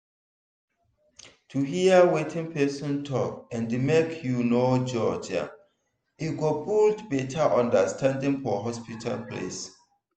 to hear wetin person talk and make you no judge am e go build better understanding for hospital place.